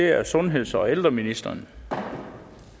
er det sundheds og ældreministeren for